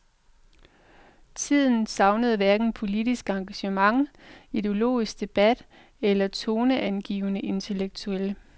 Tiden savnede hverken politisk engagement, ideologisk debat eller toneangivende intellektuelle.